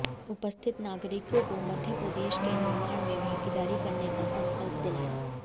उपस्थित नागरिकों को मध्य प्रदेश के निर्माण में भागीदारी करने का सकंल्प दिलाया